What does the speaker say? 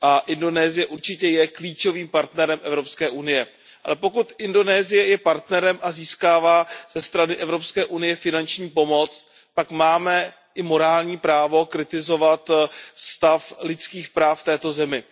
Indonésie určitě je klíčovým partnerem Evropské unie, ale pokud Indonésie je partnerem a získává ze strany Evropské unie finanční pomoc, pak máme i morální právo kritizovat stav lidských práv v této zemi.